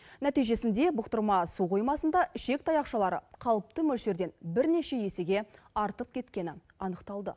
нәтижесінде бұқтырма су қоймасында ішек таяқшалары қалыпты мөлшерден бірнеше есеге артып кеткені анықталды